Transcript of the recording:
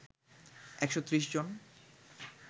একশো ত্রিশ জন